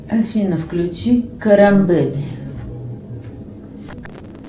афина включи карамбель